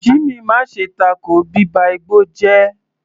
Jimmy, má ṣe tako bíba igbó jẹ́!